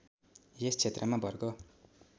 यस क्षेत्रमा वर्ग